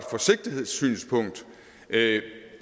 forsigtighedssynspunkt